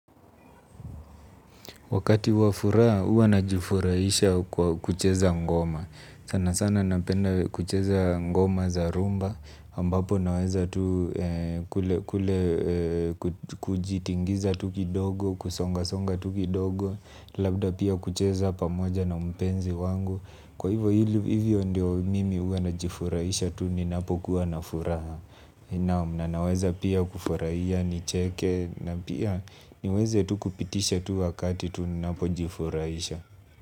Wakati wa furaa, ua najifurahisha kwa kucheza ngoma. Sana sana napenda kucheza ngoma za rumba. Ambapo naweza tu kule kujitingiza tu kidogo kusongasonga tu kidogo labda pia kucheza pakoja na mpenzi wangu. Kwa hivyo hivyo ndio mimi ua najifurahisha tu ninapokuwa na furaha. Na naweza pia kufurahia nicheke na pia niweze tu kupitisha tu wakati tu napojifurahisha.